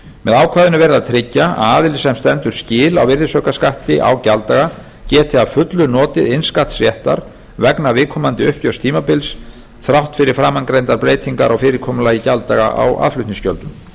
með ákvæðinu er verið að tryggja að aðili sem stendur skil á virðisaukaskatti á gjalddaga geti að fullu notið innskattsréttar vegna viðkomandi uppgjörstímabils þrátt fyrir framangreindar breytingar á fyrirkomulagi gjalddaga á aðflutningsgjöldum til að koma